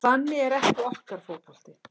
Þannig er ekki okkar fótbolti